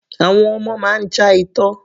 Àwọn ọmọ máa ń já itọ́.